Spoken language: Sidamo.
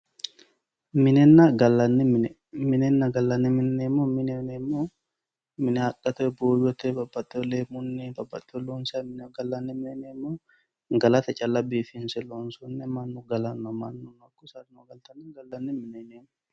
Minenna gallanni mine, minenna gallanni mine yineemmohu mine haqqete babbaxewori buuyote, leemunni babbaxeworinni loonsanniha gallanni mine yineemmo gallate calla biifinse loonsonniha mannu gallanoha saadano galtanoha gallanni mine yineemmo.